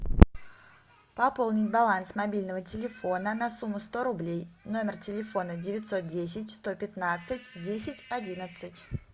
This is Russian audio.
пополнить баланс мобильного телефона на сумму сто рублей номер телефона девятьсот десять сто пятнадцать десять одиннадцать